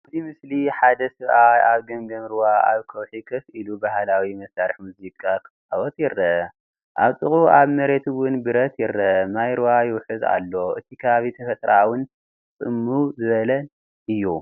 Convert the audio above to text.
ኣብዚ ምስሊ ሓደ ሰብኣይ ኣብ ገምገም ሩባ ኣብ ከውሒ ኮፍ ኢሉ ባህላዊ መሳርሒ ሙዚቃ ክጻወት ይርአ። ኣብ ጥቓኡ ኣብ መሬት እውን ብረት ይርአ። ማይ ሩባ ይውሕዝ ኣሎ። እቲ ከባቢ ተፈጥሮኣውን ጽምው ዝበለን እዩ።